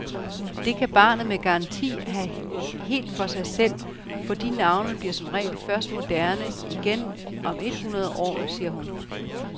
Det kan barnet med garanti have helt for sig selv, for de navne bliver som regel først moderne igen om et hundrede år, siger hun.